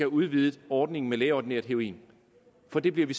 udvidet ordningen med lægeordineret heroin for det bliver vi